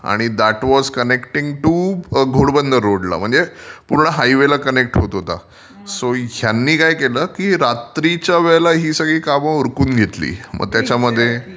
आणि that was connected to Ghodbunder रोडला. पूर्ण हायवेला कनेक्ट होत होता. सो ह्यांनी काय केलं की रात्रीच्या वेळेला ही सगळी कामं उरकून घेतली. मग त्याच्यामध्ये